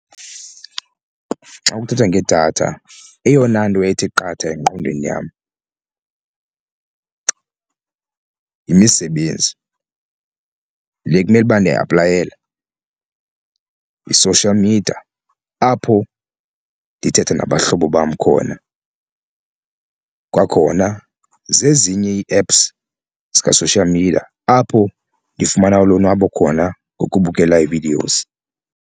Xa kuthethwa ngedatha eyona nto ithi qatha engqondweni yam yimisebenzi le kumele uba ndiyayiaplayela, yi-social media apho ndithetha nabahlobo bam khona. Kwakhona zezinye ii-apps zika-social media apho ndifumana ulonwabo khona ngokubukela ii-videos.